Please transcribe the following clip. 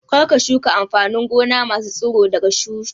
Kar ka shuka amfanin gona masu tsiro daga tushe!